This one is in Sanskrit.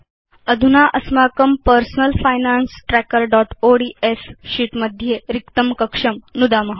अधुना अस्माकं पर्सनल फाइनान्स trackerओड्स् शीत् मध्ये रिक्तं कक्षं नुदाम